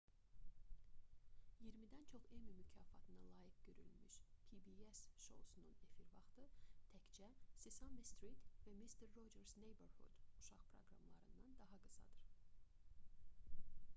i̇yirmidən çox emmy mükafatına layiq görülmüş pbs şousunun efir vaxtı təkcə sesame street və mister rogers neighborhood uşaq proqramlarından daha qısadır